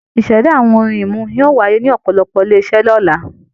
Ìṣẹ̀dá àwọn ohun-ìmu yóò wáyé ní ọ̀pọ̀lọpọ̀ àwọn ilé-iṣẹ́ lọ́la.